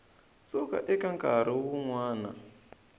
suka eka nkarhi wun wana